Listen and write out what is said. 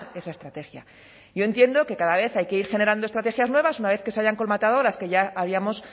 esa estrategia yo entiendo que cada vez hay que ir generando estrategias nuevas una vez que se hayan colmatado las que ya habíamos